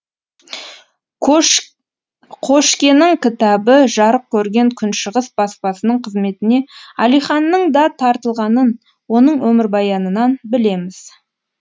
қошкенің кітабы жарық көрген күншығыс баспасының қызметіне әлиханның да тартылғанын оның өмірбаянынан білеміз